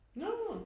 nåå